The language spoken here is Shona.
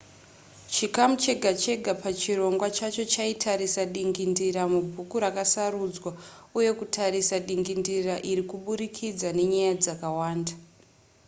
chikamu chega chega pachirongwa chacho chaitarisa dingindira mubhuku rakasarudzwa uye kutarisa dingindira iri kuburikidza nenyaya dzakawanda